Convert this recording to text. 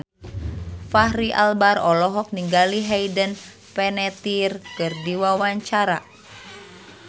Fachri Albar olohok ningali Hayden Panettiere keur diwawancara